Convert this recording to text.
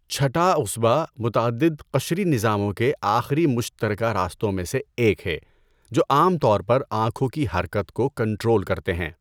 چھٹا عصبہ متعدد قشری نظاموں کے آخری مشترکہ راستوں میں سے ایک ہے جو عام طور پر آنکھوں کی حرکت کو کنٹرول کرتے ہیں۔